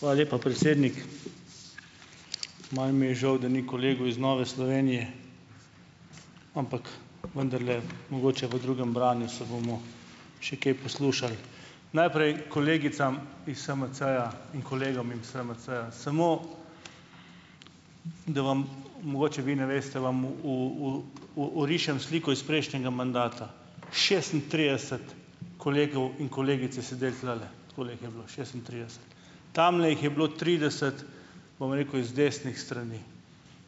Hvala lepa, predsednik. Malo mi je žal, da ni kolegov iz Nove Slovenije, ampak vendarle mogoče v drugem branju se bomo še kaj poslušali. Najprej kolegicam iz SMC-ja in kolegom iz SMC-ja, samo, da vam, mogoče vi ne veste, vam orišem sliko iz prejšnjega mandata. Šestintrideset kolegov in kolegic je sedelo tulele, takole jih je bilo šestintrideset. Tamle jih je bilo trideset, bom rekel, iz desnih strani,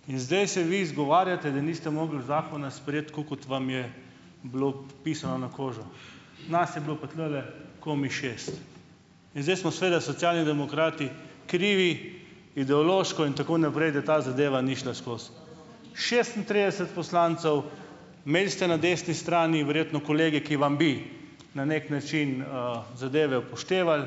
in zdaj se vi izgovarjate, da niste mogli zakona sprejeti, tako kot vam je bilo pisano na kožo. Nas je bilo pa tulele komaj šest in zdaj smo seveda Socialni demokrati krivi ideološko in tako naprej, da ta zadeva ni šla skozi. Šestintrideset poslancev, imeli ste na desni strani verjetno, kolegi, ki vam bi na neki način, zadeve upoštevali,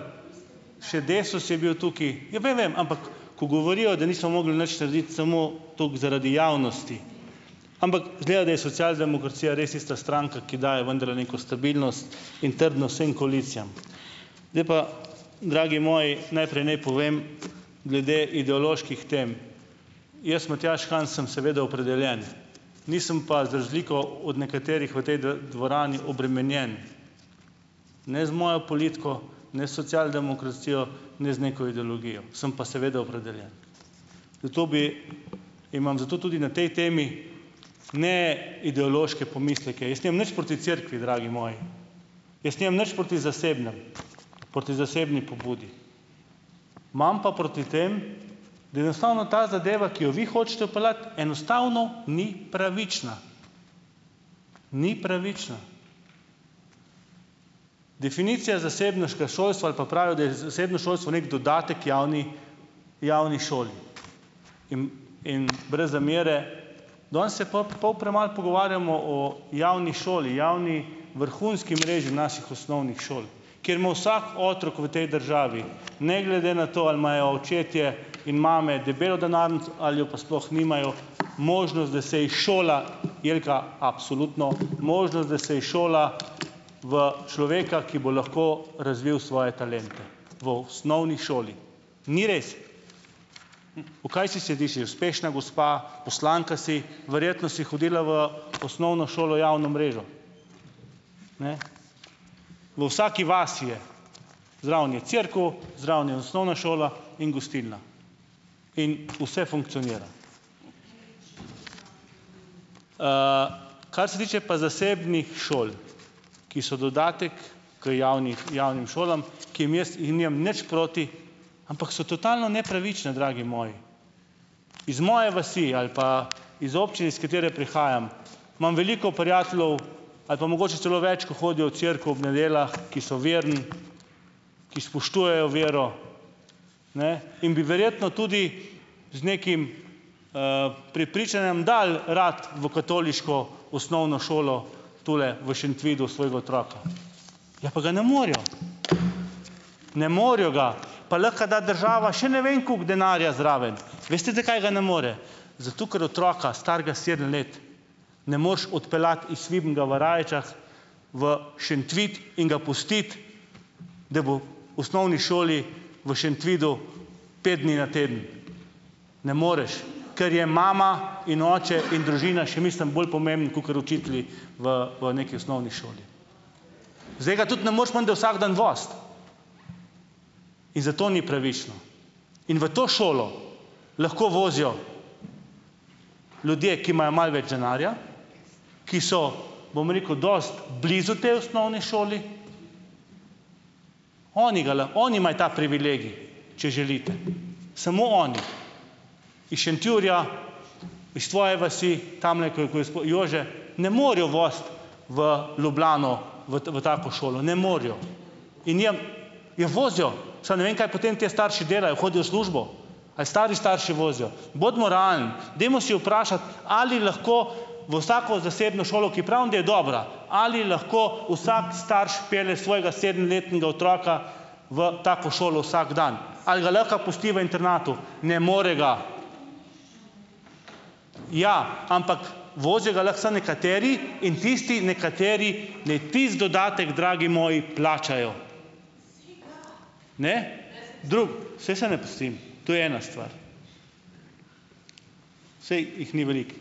še Desus je bil tukaj, ja, vem, vem, ampak ko govorijo, da niso mogli nič narediti, samo toliko zaradi javnosti. Ampak izgleda, da je socialdemokracija res tista stranka, ki daje vendarle neko stabilnost in trdnost vsem koalicijam. zdaj pa, dragi moji, najprej naj povem glede ideoloških tem. Jaz, Matjaž Han, sem seveda opredeljen, nisem pa za razliko od nekaterih v tej dvorani obremenjen, ne z mojo politiko, ne s socialdemokracijo, ne z neko ideologijo, sem pa seveda opredeljen. Zato bi imam zato tudi na tej temi ne ideološke pomisleke, jaz nimam nič proti cerkvi, dragi moji, jaz nimam nič proti zasebnemu, proti zasebni pobudi, imam pa proti tem, da enostavno ta zadeva, ki jo vi hočete vpeljati, enostavno ni pravična, ni pravična. Definicija zasebniškega šolstva ali pa pravijo, da je zasebno šolstvo neki dodatek javni, javni šoli in in brez zamere, danes se pol premalo pogovarjamo o javni šoli, javni vrhunski mreži naših osnovnih šol, kjer ima vsak otrok v tej državi ne glede na to, ali imajo očetje in mame debelo denarnico ali jo pa sploh nimajo, možnost, da se izšola Jelka, absolutno možnost, da se izšola v človeka, ki bo lahko razvil svoje talente v osnovni šoli. Ni res! V kaj si , uspešna gospa, poslanka si, verjetno si hodila v osnovno šolo, javno mrežo. Ne. V vsaki vasi je. Zraven je cerkev, zraven je osnovna šola in gostilna in vse funkcionira. Kar se tiče pa zasebnih šol, ki so dodatek k javnim šolam, ki jim jaz nimam nič proti, ampak so totalno nepravične, dragi moji. Iz moje vasi ali pa iz občine, iz katere prihajam, imam veliko prijateljev ali pa mogoče celo več, kot hodijo v cerkev ob nedeljah, ki so verni, ki spoštujejo vero, ne, in bi verjetno tudi z nekim, prepričanjem dali radi v katoliško osnovno šolo tule v Šentvidu svojega otroka. Ja, pa ga ne morejo, ne morejo ga, pa lahko da država še ne vem koliko denarja zraven. Veste, zakaj ga ne more? Zato, ker otroka starega sedem let ne moreš odpeljati iz Vidnega v Rajčah v Šentvid in ga pustiti, da bo v osnovni šoli v Šentvidu pet dni na teden. Ne moreš, ker je mama in oče in družina, še mislim, bolj pomemben kakor učitelji v v neki osnovni šoli. Zdaj, ga tudi ne moreš menda vsak dan voziti in zato ni pravično. In v to šolo lahko vozijo ljudje, ki imajo malo več denarja, ki so, bom rekel, dosti blizu tej osnovni šoli, oni ga lahko, oni imajo ta privilegij, če želite, samo oni. Iz Šentjurja, iz tvoje vasi, tamle, ko je Jože, ne morejo voziti v Ljubljano, v v tako šolo, ne morejo in nimam, ja, vozijo, samo ne vem, kaj potem ti starši delajo, hodijo v službo? Ali stari starši vozijo? Bodimo realni. Dajmo se vprašati, ali lahko v vsako zasebno šolo, ki pravim, da je dobra, ali lahko vsak starš pelje svojega sedemletnega otroka v tako šolo, vsak dan. Ali ga lahko pusti v internatu? Ne more ga. Ja, ampak, vozijo ga lahko samo nekateri in tisti nekateri, naj tisti dodatek, dragi moji, plačajo. Ne? Saj se ne pustim. To je ena stvar, saj jih ni veliko.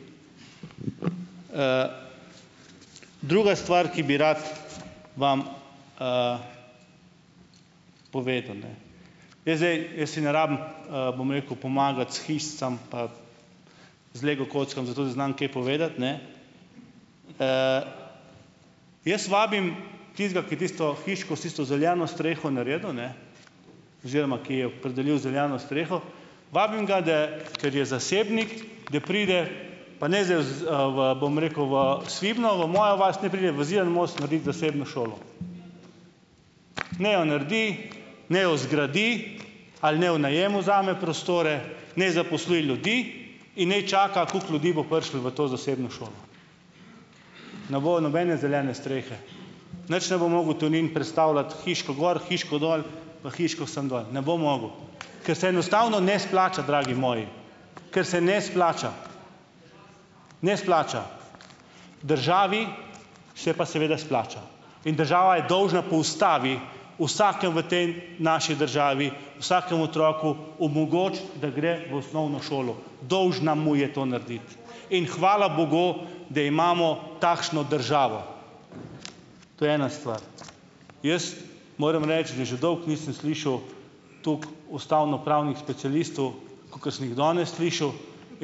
Druga stvar, ki bi rad vam, povedal, ne. Jaz zdaj, jaz si ne rabim, bom rekel, pomagati s hišicami, pa z lego kockami, zato da znam kaj povedati, ne, jaz vabim tistega, ki je tisto hiško, s tisto zeleno streho naredil, ne, oziroma, ki jo je opredelil z zeleno streho, vabim ga da, ker je zasebnik, da pride, pa ne zdaj v, v, bom rekel, v Svibno, v mojo vas, naj pride v Zidani most naredit zasebno šolo. Naj jo naredi, naj jo zgradi ali naj jo v najem vzame prostore, naj zaposli ljudi in ne čaka, koliko ljudi bo prišlo v to zasebno šolo. Ne bo nobene zelene strehe. Nič ne bo mogel Tonin prestavljati hiško gor, hiško dol, pa hiško sem dol, ne bo mogel, ker se enostavno ne splača, dragi moji, ker se ne splača, ne splača. Državi se pa seveda splača in država je dolžna po ustavi, vsakemu v tej, naši državi, vsakemu otroku omogočiti, da gre v osnovno šolo. Dolžna mu je to narediti in hvala bogu, da imamo takšno državo. To je ena stvar. Jaz moram reči, da že dolgo nisem slišal tako ustavnopravnih specialistov, kakor sem jih danes slišal,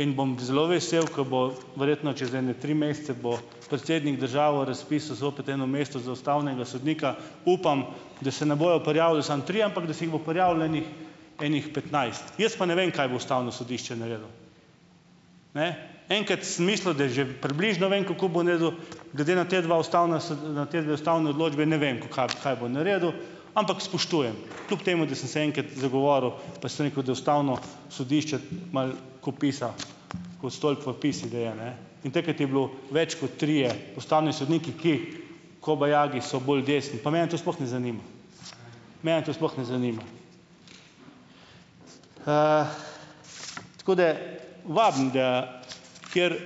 in bom zelo vesel, ke bo, verjetno čez ene tri mesece bo, predsednik države razpisal zopet eno mesto za ustavnega sodnika. Upam, da se ne bojo prijavili samo trije, ampak da se jih bo prijavilo enih, ene petnajst, jaz pa ne vem, kaj bo ustavno sodišče naredilo? Ne. Enkrat sem mislil, da je že približno vem, kako bo naredilo, glede na ta dva ustavna, na te dve ustavni odločbi, ne vem, kaj bo naredilo, ampak spoštujem, kljub temu, da sem se enkrat zagovoril, pa sem rekel, da ustavno sodišče malo kopisa, ko sto podpisov daje, ne? In takrat je bilo, več kot trije ustavni sodniki, ki, kobajagi so bolj desni, pa mene to sploh ne zanima, mene to sploh ne zanima. Tako da vabim, da kateri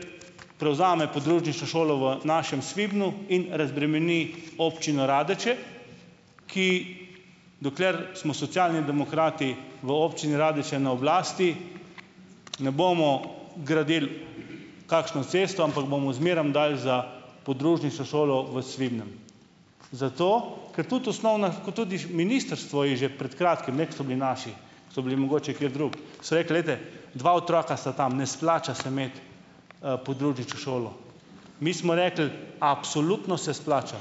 prevzame podružnično šolo v našem Svibnu in razbremeni Občino Radeče, ki, dokler smo Socialni demokrati v Občini Radeče na oblasti, ne bomo gradili kakšne ceste, ampak bomo zmerom dali za podružnično šolo v Svibnem, zato ker tudi osnovna, kot tudi ministrstvo je že pred kratkim ne, ko so bili naši, ko so bili mogoče kateri drugi, so rekli, glejte, dva otroka sta tam, ne splača se imeti podružnične šole. Mi smo rekli, absolutno se splača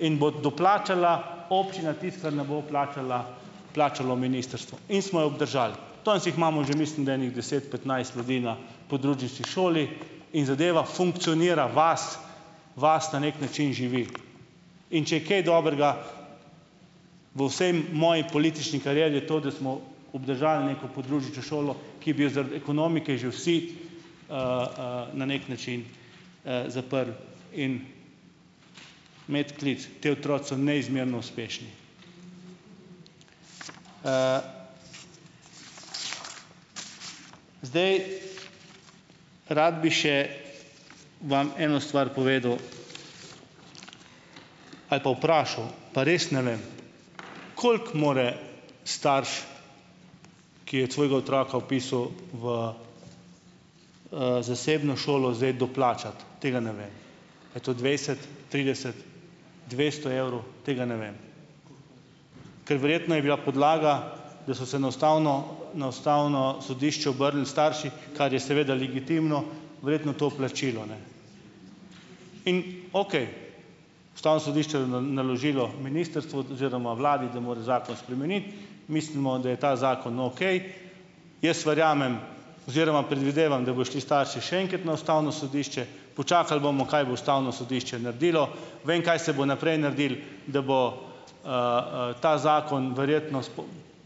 in bo doplačala občina tisto, kar ne bo vplačala, vplačalo ministrstvo, in smo jo obdržali. danes jih imamo že, mislim da, ene deset, petnajst ljudi na podružnični šoli, in zadeva funkcionira, vas na neki način živi, in če je kaj dobrega v vsej moji politični karieri, je to, da smo obdržali neko podružnično šolo, ki bi jo zaradi ekonomike že vsi, na neki način, zaprli in medklic, ti otroci so neizmerno uspešni. Zdaj, rad bi še vam eno stvar povedal ali pa vpraša, pa res ne vem, koliko mora starš, ki je svojega otroka vpisal v, zasebno šolo, zdaj doplačati? Tega ne ve. A je to dvajset, trideset, dvesto evrov? Tega ne vem. Ker verjetno je bila podlaga, da so se na ustavno, na ustavno sodišče obrnili starši, kar je seveda legitimno, verjetno to plačilo, ne? In, okej, ustavno sodišče naložilo ministrstvu oziroma vladi, da mora zakon spremeniti, mislimo, da je ta zakon okej. Jaz verjamem oziroma predvidevam, da bojo šli starši še enkrat na ustavno sodišče, počakali bomo, kaj bo ustavno sodišče naredilo. Vem, kaj se bo naprej naredilo, da bo, ta zakon verjetno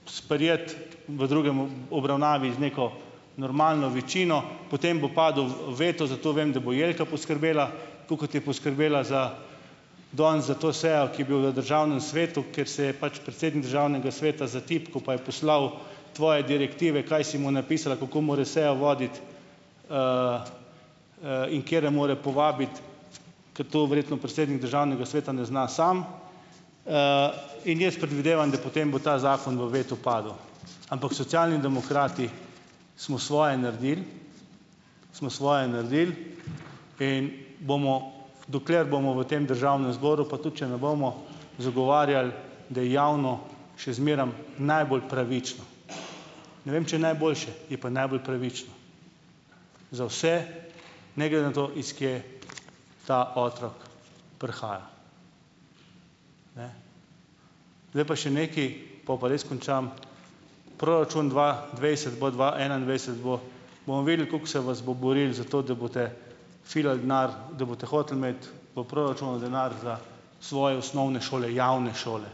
sprejet v drugem obravnavi z neko normalno večino, potem bo padel veto, zato vem, da bo Jelka poskrbela, tako kot je poskrbela za danes za to sejo, ki bi jo v državnem svetu, ker se je pač predsednik državnega sveta zatipkal, pa je poslal tvoje direktive, kaj si mu napisala, kako mora sejo voditi, in katere mora povabiti, ker to verjetno predsednik državnega sveta ne zna sam. In jaz predvidevam, da potem bo ta zakon v vetu padel. Ampak Socialni demokrati smo svoje naredili, smo svoje naredili in bomo, dokler bomo v tem državnem zboru, pa tudi če ne bomo, zagovarjali, da je javno še zmeraj najbolj pravično. Ne vem, če je najboljše, je pa najbolj pravično za vse, ne glede na to, iz kje ta otrok prihaja. Zdaj pa še nekaj, po pa res končam. Proračun dva dvajset bo dva enaindvajset bo, bomo videli, kako se ves bo boril za to, da boste filali denar, da boste hoteli imeti v proračunu denar za svoje osnovne šole, javne šole.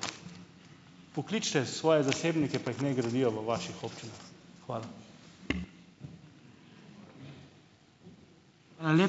Pokličite svoje zasebnike pa jih naj gradijo v vaših občinah. Hvala.